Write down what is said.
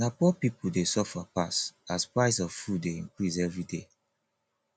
na poor pipo dey suffer pass as price of food dey increase everyday